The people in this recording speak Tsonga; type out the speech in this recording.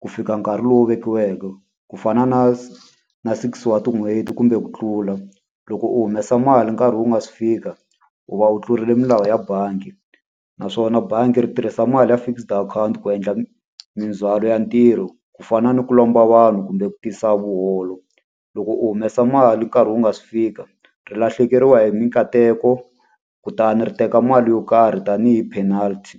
ku fika nkarhi lowu vekiweke, ku fana na na six wa tin'hweti kumbe ku tlula. Loko u humesa mali nkarhi wu nga si fika, u va u tlurile milawu ya bangi. Naswona bangi ri tirhisa mali ya fixed akhawunti ku endla mindzwalo ya ntirho, ku fana ni ku lomba vanhu kumbe ku tisa . Loko u humesa mali nkarhi wu nga si fika, ri lahlekeriwa hi minkateko kutani ri teka mali yo karhi tanihi penalty.